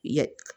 Ya